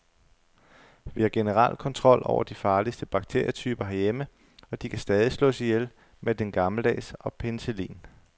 Vi har generelt kontrol over de farligste bakterietyper herhjemme, og de kan stadig slås ihjel med den gammeldags og penicillin.